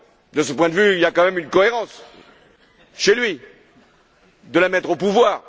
De ce point de vue, il y a quand même une cohérence, chez lui, de la mettre au pouvoir.